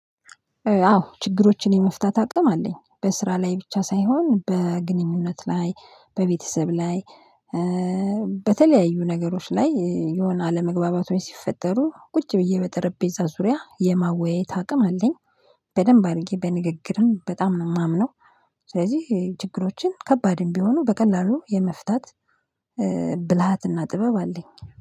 አዎ ችግሮችን የመፍታት አቅም አለኝ በስራ ላይ ብቻ ሳይሆን በግንኙነት ላይ በቤተሰብ ላይ በተለያዩ ነገሮች ላይ የሆነ አለመግባባቶች ሲፈጠሩ ቁጭ ብዬ በጠረጴዛ ዙሪያ የመወያየት አቅም አለኝ። በደንብ አድርጌ በንግግርም በጣም ነው የማምነው። ስለዚህ ችግሮችን ከባድም ቢሆኑ በቀላሉ የመፍታት ብልሃትና ጥበብ አለኝ